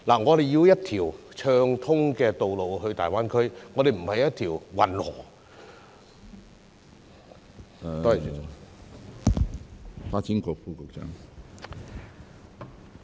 我們需要一條暢通的道路連接大灣區，而不是運河。